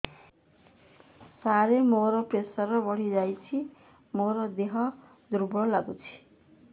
ସାର ମୋର ପ୍ରେସର ବଢ଼ିଯାଇଛି ମୋ ଦିହ ଦୁର୍ବଳ ଲାଗୁଚି